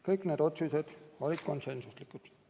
Kõik need otsused olid konsensuslikud.